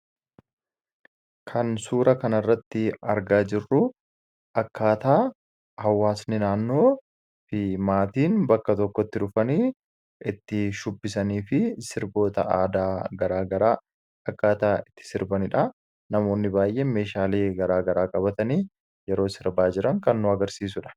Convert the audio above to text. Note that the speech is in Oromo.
Kan suura kanarratti argaa jirru akkaataa hawwaasni naannoo fi maatiin bakkabtokkotti walitti dhufanii itti shubbisanii fi sirboota aadaa gara garaa akkaataa itti sirbanidha. Namoonni baay'een meeshaalee gara garaa qabatanii yeroo sirbaa jiran kan agarsiisudha.